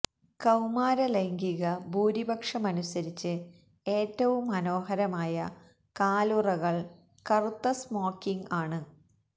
കൌമാര ലൈംഗിക ഭൂരിപക്ഷമനുസരിച്ച് ഏറ്റവും മനോഹരമായ കാലുറകൾ കറുത്ത സ്മോക്കിംഗ് ആണ്